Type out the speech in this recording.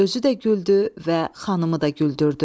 özü də güldü və xanımı da güldürdü.